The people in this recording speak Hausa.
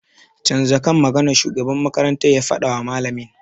Canza kan maganar!' shugaban makarantar ya fadawa malamin.